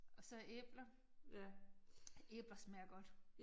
Og så æbler. Æbler smager godt